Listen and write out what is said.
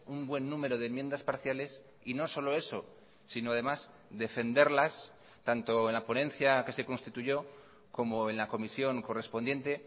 un buen número de enmiendas parciales y no solo eso sino además defenderlas tanto en la ponencia que se constituyó como en la comisión correspondiente